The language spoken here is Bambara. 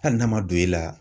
Hali n'a ma don e la